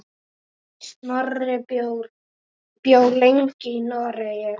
Snorri bjó lengi í Noregi.